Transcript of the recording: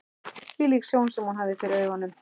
Hvílík sjón sem hún hafði fyrir augunum!